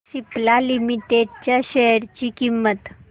Cipla limited च्या share ची किंमत